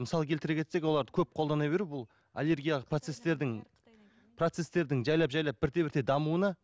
мысал келтіре кетсек оларды көп қолдана беру бұл аллергиялық процестердің процестердің жайлап жайлап бірте бірте дамуына